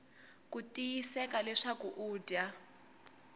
ku tiyiseka leswaku u dya